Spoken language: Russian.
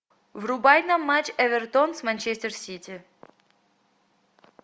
врубай нам матч эвертон с манчестер сити